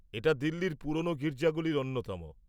এটা দিল্লির পুরোনো গির্জাগুলির অন্যতম।